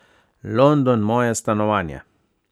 London, moje stanovanje.